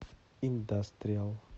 индастриал